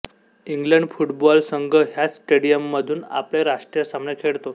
England football संघ ह्याच स्टेडियममधून आपले राष्ट्रीय सामने खेळतो